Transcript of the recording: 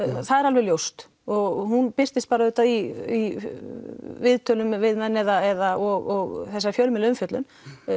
það er alveg ljóst hún birtist auðvitað í viðtölum við menn eða og þessari fjölmiðlaumfjöllun